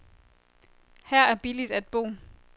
Her er billigt at bo.